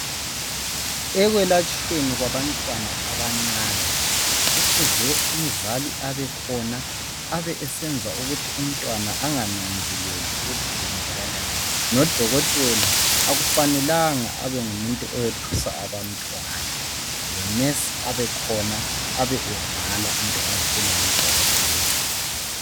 Ekwelatshweni kabantwana abancane, kufuze umzali abe khona, abe esenza ukuthi umntwana engananzeleli ukuthi kwenzakalani Ngodokotela akufanelanga abe ngumuntu oyethusala abantwana, lo nesi kumele abe khona abe ebhala into azitshela ngudokotela.